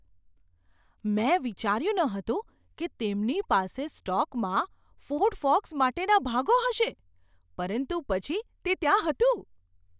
મેં વિચાર્યું ન હતું કે તેમની પાસે સ્ટોકમાં ફોર્ડ ફોકસ માટેના ભાગો હશે પરંતુ પછી તે ત્યાં હતું.